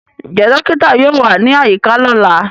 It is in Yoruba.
Njẹ dokita yoo wa ni ayika lọla?